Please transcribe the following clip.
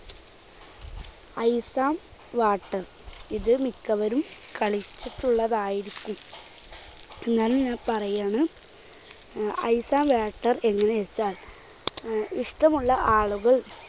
ice and water. ഇത് മിക്കവരും കളിച്ചിട്ടുള്ളതായിരിക്കും. എന്നാലും ഞാൻ പറയുകയാണ് അഹ് ice and water എന്നുവെച്ചാൽ ഇഷ്ടമുള്ള ആളുകൾ